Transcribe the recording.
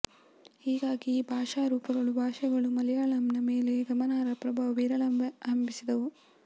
ಹೀಗಾಗಿ ಈ ಭಾಷಾ ರೂಪಗಳು ಭಾಷೆಗಳು ಮಲಯಾಳಂನ ಮೇಲೆ ಗಮನಾರ್ಹ ಪ್ರಭಾವ ಬೀರಲಾರಂಭಿಸಿದವು